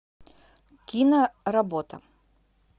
киноработа